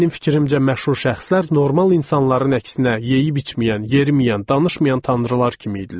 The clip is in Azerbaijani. Mənim fikrimcə məşhur şəxslər normal insanların əksinə yeyib-içməyən, yeriməyən, danışmayan tanrılar kimi idilər.